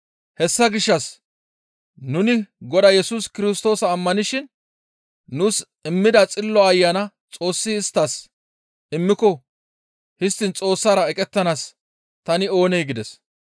Hessa gishshas nuni Godaa Yesus Kirstoosa ammanishin nuus immida Xillo Ayana Xoossi isttas immiko histtiin Xoossara eqettanaas tani oonee?» gides.